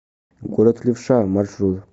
город левша маршрут